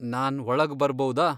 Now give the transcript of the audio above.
ನಾನ್ ಒಳಗ್ ಬರ್ಬೌದಾ?